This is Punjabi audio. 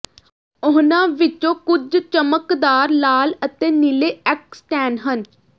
ਉਹਨਾਂ ਵਿੱਚੋਂ ਕੁਝ ਚਮਕਦਾਰ ਲਾਲ ਅਤੇ ਨੀਲੇ ਐਕਸਟੈਨ ਹਨ